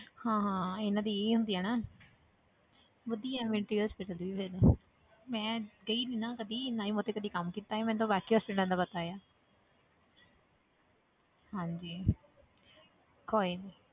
ਹਾਂ ਹਾਂ ਇਹਨਾਂ ਦੀ ਇਹੀ ਹੁੰਦੀ ਆ ਨਾ ਵਧੀਆ military hospital ਵੀ ਫਿਰ ਮੈਂ ਗਈ ਨੀ ਨਾ ਕਦੇ ਨਾ ਹੀ ਮੈਂ ਉੱਥੇ ਕਦੇ ਕੰਮ ਕੀਤਾ ਹੈ ਮੈਨੂੰ ਤਾਂ ਬਾਕੀ hospitals ਦਾ ਪਤਾ ਆ ਹਾਂਜੀ ਕੋਈ ਨੀ